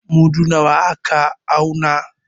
Mudu nawa ka auna?